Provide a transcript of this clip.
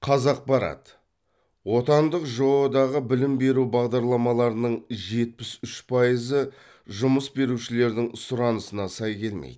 қазақпарат отандық жоо дағы білім беру бағдарламаларының жетпіс үш пайызы жұмыс берушілердің сұранысына сай келмейді